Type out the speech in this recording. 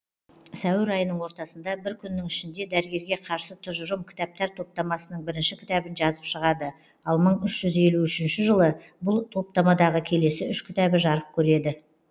сәуір айының ортасында бір күннің ішінде дәрігерге қарсы тұжырым кітаптар топтамасының бірінші кітабын жазып шығады ал мың үш жүз елу үшінші жылы бұл топтамадағы келесі үш кітабы жарық көреді